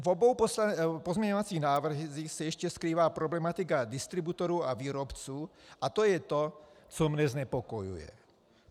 V obou pozměňovacích návrzích se ještě skrývá problematika distributorů a výrobců a to je to, co mne znepokojuje.